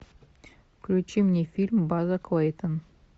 включи мне фильм база клейтон